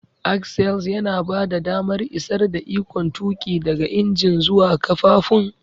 Axles yana bada damar isar da ikon tuƙi daga injin zuwa ƙafafun.